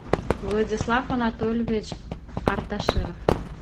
владислав анатольевич арташиров